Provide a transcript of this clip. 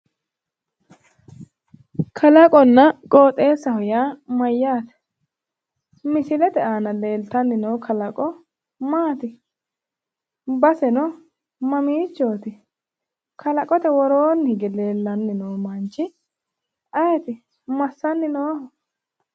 Kalaqonna qooxeessaho yaa mayyaate? Misilete aana leeltanni noo kalaqo maati? Baseno mamiichooti kalaqote woroonni hige leellanni noo manchi ayeeti? Massanni nooho?